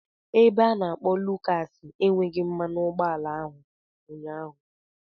Ebe a na-akpo Lucas enweghị mmanụ ụgbọala ụnyaahụ.